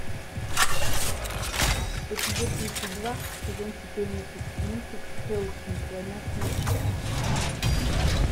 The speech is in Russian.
эпизод тридцать два сезон четырнадцать мультик хеллсинг война с нечистью